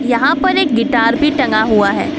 यहां पर एक गिटार भी टंगा हुआ है।